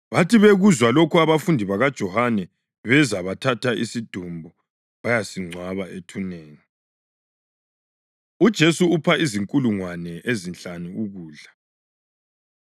Bathi bekuzwa lokho abafundi bakaJohane beza bathatha isidumbu bayasingcwaba ethuneni. UJesu Upha Izinkulungwane Ezinhlanu Ukudla